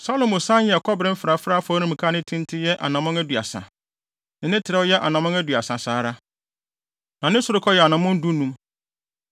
Salomo san yɛɛ kɔbere mfrafrae afɔremuka a ne tenten yɛ anammɔn aduasa, ne trɛw yɛ anammɔn aduasa saa ara, na ne sorokɔ yɛ anammɔn dunum.